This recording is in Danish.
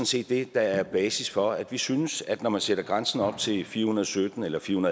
set det der er basis for at vi synes at når man sætter grænsen op til firehundrede og syttentusind